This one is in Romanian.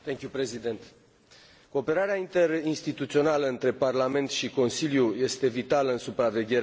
Cooperarea interinstituțională dintre Parlament și Consiliu este vitală în supravegherea implementării bugetului.